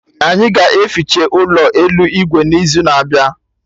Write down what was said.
Anyị ga-eficha ụlọ elu Igwe n'izu na-abịa